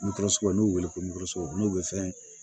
n'u y'u wele ko n'u bɛ fɛn